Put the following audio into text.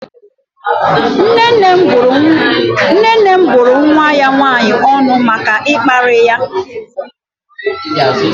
Nne nne m bụrụ nwa ya nwannyi ọnụ maka ịkparị ya.